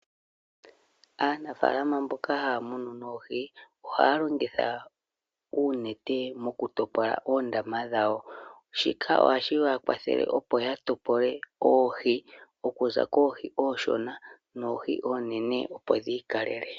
Aanafaalama mboka haya munu noohi ohaya longitha uunete mokutopola oondama dhawo, shika ohashiya kwathele opo yatopole oohi okuza koohi ooshona noohi oonene opo dhi ikalele.